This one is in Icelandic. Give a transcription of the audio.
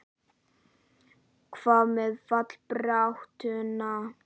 Hvað með fallbaráttuna?